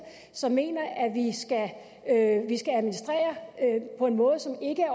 som mener at vi skal administrere på en måde som ikke